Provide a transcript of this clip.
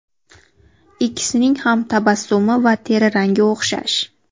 Ikkisining ham tabassumi va teri rangi o‘xshash.